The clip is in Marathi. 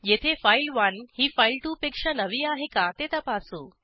येथे फाइल1 ही फाइल2 पेक्षा नवी आहे का ते तपासू